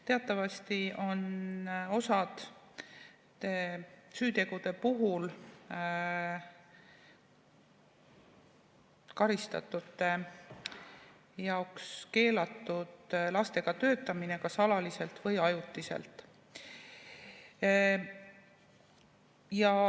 Teatavasti on osade süütegude puhul karistatute jaoks keelatud lastega töötamine kas alaliselt või ajutiselt.